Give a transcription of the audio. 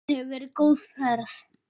Þetta hefur verið góð ferð.